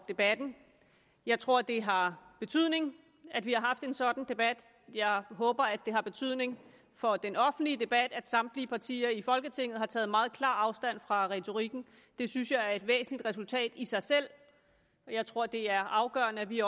debatten jeg tror at det har betydning at vi haft en sådan debat jeg håber at det har betydning for den offentlige debat at samtlige partier i folketinget har taget meget klar afstand fra retorikken det synes jeg er et væsentligt resultat i sig selv jeg tror at det er afgørende at vi